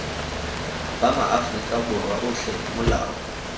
ba maaforika borwa otlhe molao